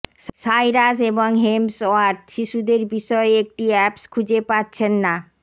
Cyrus এবং Hemsworth শিশুদের বিষয়ে একটি আপস খুঁজে পাচ্ছেন না